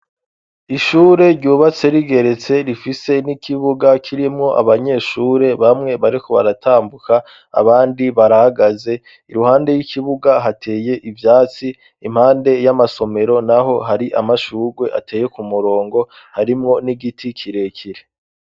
Ishure ryubatse rigeretse rifise n'ikibuga kirimwo abanyeshure bamwe bariko baratambuka abandi barahagaze iruhande y'ikibuga hateye ivyatsi impande y'amasomero naho hari amashugwe ateye ku murongo harimwo n'igiti kirekire.